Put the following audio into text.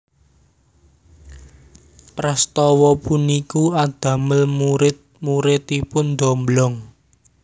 Prastawa puniku adamel murid muridipun ndomblong